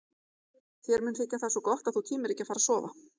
Þér mun þykja það svo gott að þú tímir ekki að fara að sofa.